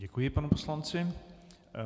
Děkuji panu poslanci.